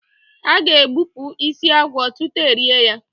A ga- egbupụ isi agwọ tutu erie ya.